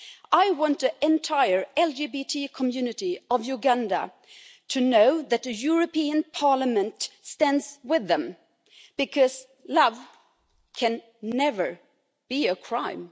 I want to entire LGBT community of Uganda to know that the European Parliament stands with them, because love can never be a crime.